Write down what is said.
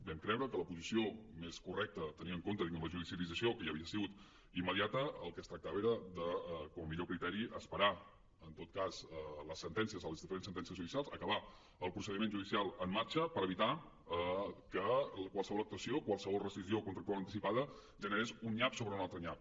vam creure que la posició més correcta tenint en compte la judicialització que ja havia sigut immediata del que es tractava era com a millor criteri d’esperar en tot cas les sentències les diferents sentències judicials acabar el procediment judicial en marxa per evitar que qualsevol actuació qualsevol rescissió contractual anticipada generés un nyap sobre un altre nyap